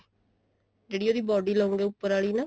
ਜਿਹੜੀ ਇਹਦੀ body ਲਵਾਂਗੇ ਉੱਪਰ ਆਲੀ ਨਾ